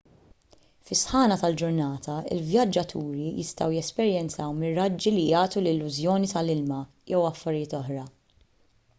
fis-sħana tal-ġurnata il-vjaġġaturi jistgħu jesperjenzaw miraġġi li jagħtu l-illużjoni ta’ ilma jew affarijiet oħra